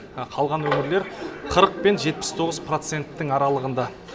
қалған өңірлер қырық пен жетпіс тоғыз проценттің аралығында